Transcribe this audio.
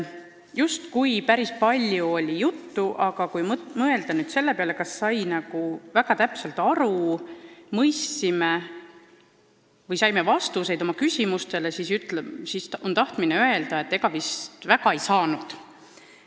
Justkui päris palju oli juttu, aga kui mõelda, kas me saime kõigest väga täpselt aru ja saime vastused oma küsimustele, siis on tahtmine öelda, et ega vist ei saanud.